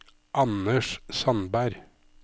Anders Sandberg